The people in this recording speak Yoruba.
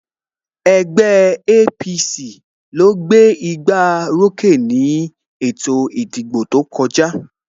Ẹgbẹ́ APC ló gbé gbá orókè ni ètò ìdìbò tó kọjá